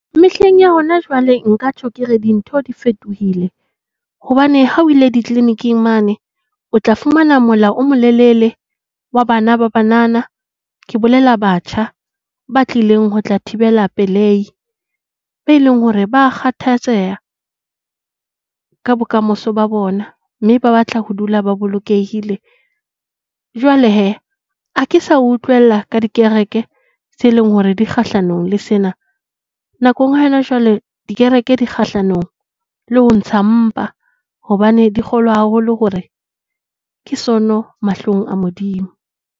Mehleng ya hona jwale, nka tjho ke re dintho di fetohile hobane ha o ile di-clinic-ng mane. O tla fumana mola o molelele wa bana ba banana. Ke bolela batjha ba tlileng ho tla thibela pelei. Ba e leng hore ba kgathatseha ka bokamoso ba bona mme ba batla ho dula ba bolokehile. Jwale he, ha ke sa utlwela ka dikereke tse leng hore di kgahlanong le sena. Nakong ya hona jwale, dikereke di kgahlanong le ho ntsha mpa hobane di kgolwa haholo hore ke sono mahlong a Modimo.